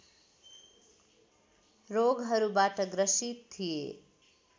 रोगहरूबाट ग्रसित थिए